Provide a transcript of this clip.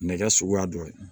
Nɛgɛ suguya dɔ ye